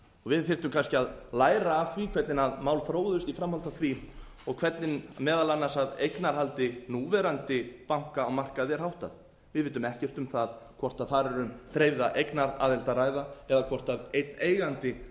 við þyrftum kannski að læra af því hvernig mál þróuðust í framhaldi af því og hvernig meðal annars eignarhaldi núverandi banka á markaði er háttað við vitum ekkert um það hvort þar er um dreifða eignaraðild að ræða eða hvort einn eigandi